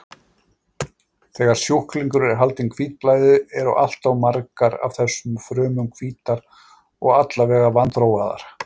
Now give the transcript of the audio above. Þegar sjúklingur er haldinn hvítblæði, eru alltof margar af þessum frumum hvítar og allavega vanþróaðar.